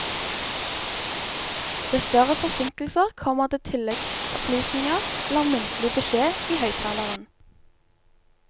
Ved større forsinkelser kommer det tilleggsopplysninger eller muntlig beskjed i høyttaleren.